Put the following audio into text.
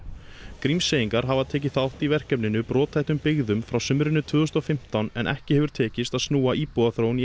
Grímseyingar hafa tekið þátt í verkefninu brothættum byggðum frá sumrinu tvö þúsund og fimmtán en ekki hefur tekist að snúa íbúaþróun í